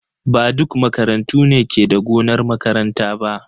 Ba duk makarantu ne ke da gonar makaranta ba.